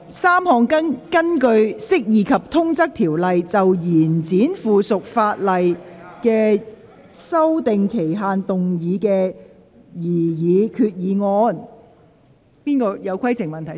三項根據《釋義及通則條例》，就延展附屬法例的修訂期限動議的擬議決議案。